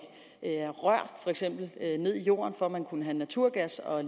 rør ned i jorden for at man kunne have naturgas og